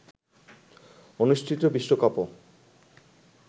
অনুষ্ঠিত বিশ্বকাপও